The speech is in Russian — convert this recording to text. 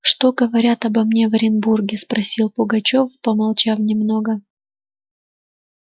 что говорят обо мне в оренбурге спросил пугачёв помолчав немного